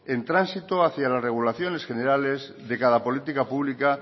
en tránsito hacía las regulaciones generales de cada política pública